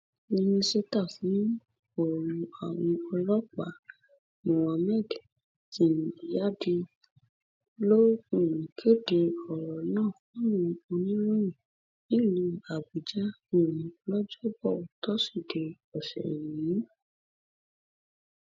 mínísítà fún ọrọ àwọn ọlọpàá muhammad tingyadi ló um kéde ọrọ náà fáwọn oníròyìn nílùú àbújá um lọjọbọ tosidee ọsẹ yìí